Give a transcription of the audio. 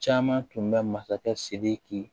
Caman tun bɛ masakɛ sidiki